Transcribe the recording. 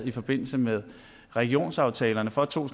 i forbindelse med regionsaftalerne for to